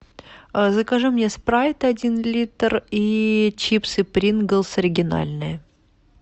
закажи мне спрайт один литр и чипсы принглс оригинальные